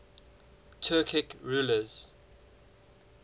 turkic rulers